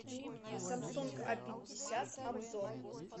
самсунг а пятьдесят обзор